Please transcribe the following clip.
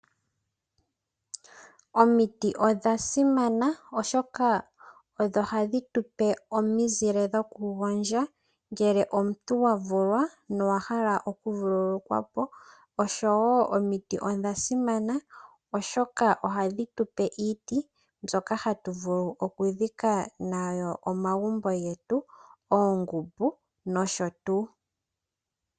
Omitiodha simana oshoka osho hadhi tupe omizile dhoku gondja ngele omuntu wa vulwa nowa hala oku vululukwa po, oshowo omitiodha simana oshoka ohadhitu pe iiti mbyoka hatu vulu oku dhika nayo omagumbo getu, oomankolo nosho tuu.